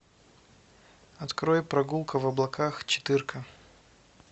открой прогулка в облаках четыр ка